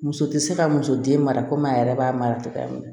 Muso tɛ se ka muso den mara komi a yɛrɛ b'a mara cogoya min na